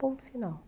Ponto final.